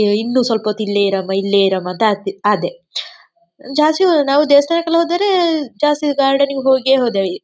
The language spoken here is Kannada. ಇನ್ನು ಸಲ್ಪ ಹೊತ್ತು ಇಲ್ಲೇ ಇರಮ್ಮ ಇಲ್ಲೇ ಇರಮ್ಮ ಅಂತ ಆಡ್ತಿ ಆದೆ ಜಾಸ್ತಿ ನಾವು ದೇವ್ಸ್ಥಾನಕ್ಕೆಲ್ಲ ಹೋದರೆ ಜಾಸ್ತಿ ಗಾರ್ಡನ್ ಗೆ ಹೋಗೆ ಹೋದಾಯಿ.